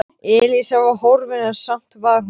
Elísa var horfin en samt var hún þarna.